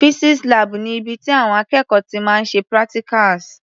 Physics lab ni ibi tí àwọn akẹ́kọ̀ọ́ ti máa ń ṣe practicals.